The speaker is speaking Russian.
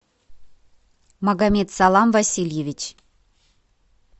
магомедсалам васильевич